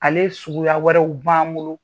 Ale suguya wɛrɛw b'an bolo.